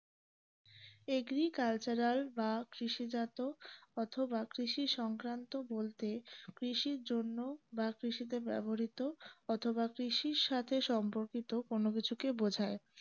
agricultural বা কৃষি জাতীয় অথবা কৃষি সংক্রান্ত বলতে কৃষির জন্য বা কৃষিতে ব্যবহৃত অথবা কৃষির সাথে সম্পর্কিত কোন কিছুকে বোঝায়